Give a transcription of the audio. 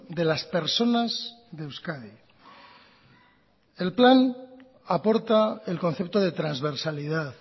de las personas de euskadi el plan aporta el concepto de transversalidad